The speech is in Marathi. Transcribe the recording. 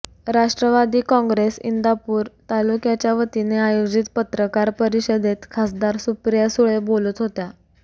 राष्ट्रवादी काँग्रेस इंदापूर तालुक्याच्या वतीने आयोजित पत्रकार परिषदेत खासदार सुप्रिया सुळे बोलत होत्या